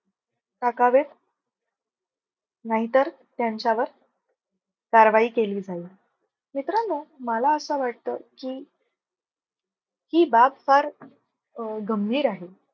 टाकावेत नाही तर त्यांच्यावर कारवाई केली जाईल. मित्रांनो मला असं वाटत की, ही बाब फार गंभीर आहे